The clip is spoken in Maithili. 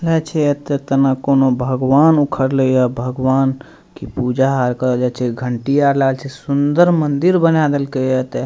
यहाँ छे एते त ना त कउनो भगवान उखड़लै हे भगवान के पूजा आर करल जाए छे। घंटिया आर लाग छे सुन्दर मंदिर बना देलकइ एते।